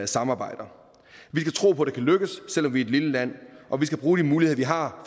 samarbejder vi skal tro på at det kan lykkes selv om vi er et lille land og vi skal bruge de muligheder vi har